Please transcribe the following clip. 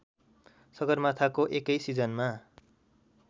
सगरमाथाको एकै सिजनमा